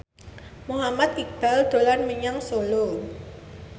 Muhammad Iqbal dolan menyang Solo